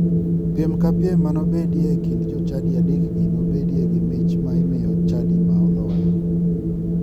Piem ka piem manobedie e kind jochadi adekgi nobedi gi mich ma imiyo chadi ma oloyo.